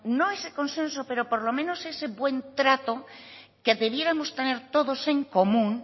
no ese consenso pero por lo menos ese buen trato que debiéramos tener todos en común